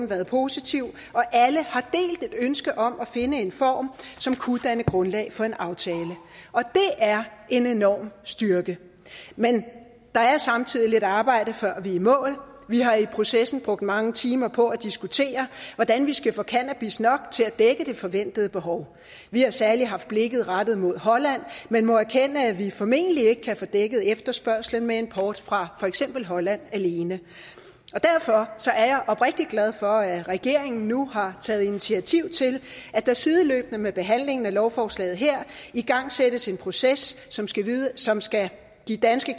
været positiv og alle har delt et ønske om at finde en form som kunne danne grundlag for en aftale og det er en enorm styrke men der er samtidig lidt arbejde før vi er i mål vi har i processen brugt mange timer på at diskutere hvordan vi skal få cannabis nok til at dække det forventede behov vi har særlig haft blikket rettet mod holland men må erkende at vi formentlig ikke kan få dækket efterspørgslen med import fra for eksempel holland alene og derfor er jeg oprigtig glad for at regeringen nu har taget initiativ til at der sideløbende med behandlingen af lovforslaget her igangsættes en proces som som skal give danske